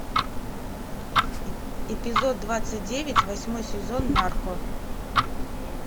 эпизод двадцать девять восьмой сезон нарко